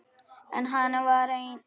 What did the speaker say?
En hann var einn.